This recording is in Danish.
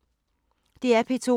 DR P2